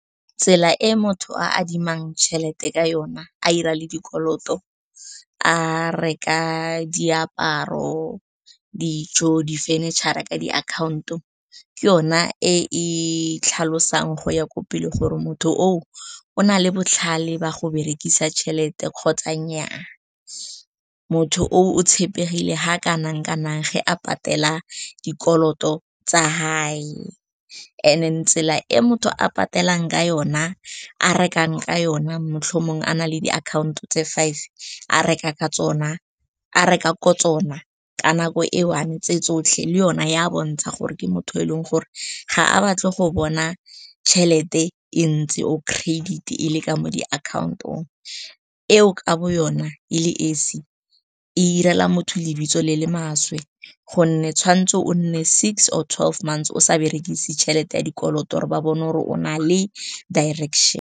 Tsela e motho a adimang tšhelete ka yona, a dira le dikoloto, a reka diaparo, dijo, di-furniture ka di akhaonto, ke yona e e tlhalosang go ya ko pele gore motho o na le botlhale ba go berekisa tšhelete kgotsa nnyaa. Motho o tshepegile ga kana kanang ge a patela dikoloto tsa gage, and then tsela e motho a patelang ka yona, a rekang ka yona matlhomong, a na le diakhaonto tse five a reka ko tsona ka nako e one tse tsotlhe le yona ya bontsha gore ke motho e leng gore ga a batle go bona tšhelete e ntsi or credit e le ka mo di akhaontong. Eo ka bo yona e le esi, e direla motho lebitso le le maswe gonne tshwantse o nne six or twelve months o sa berekise tšhelete ya dikoloto gore ba bona gore o na le direction.